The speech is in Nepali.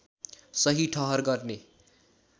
सही ठहर गर्ने